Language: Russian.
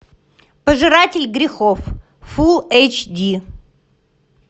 пожиратель грехов фул эйч ди